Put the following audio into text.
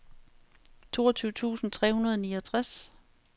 toogtyve tusind tre hundrede og niogtres